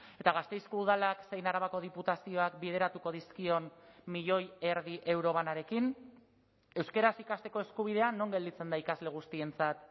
eta gasteizko udalak zein arabako diputazioak bideratuko dizkion milioi erdi euro banarekin euskaraz ikasteko eskubidea non gelditzen da ikasle guztientzat